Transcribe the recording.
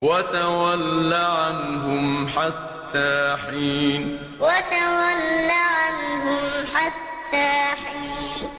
وَتَوَلَّ عَنْهُمْ حَتَّىٰ حِينٍ وَتَوَلَّ عَنْهُمْ حَتَّىٰ حِينٍ